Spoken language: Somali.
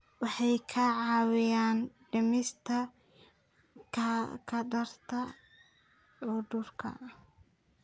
Waxay kaa caawinayaan dhimista khatarta cudurrada.